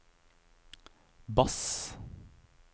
bass